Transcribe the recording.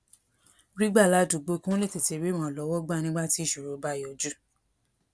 rí gbà ládùúgbò kí wón lè tètè rí ìrànlówó gbà nígbà tí ìṣòro bá yọjú